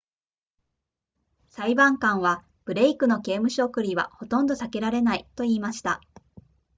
裁判官はブレイクの刑務所送りはほとんど避けられないと言いました